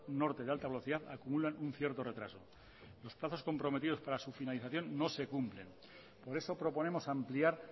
norte de alta velocidad acumulan un cierto retraso los plazos comprometidos para su finalización no se cumplen por eso proponemos ampliar